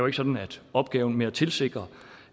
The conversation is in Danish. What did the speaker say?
ikke sådan at opgaven med at tilsikre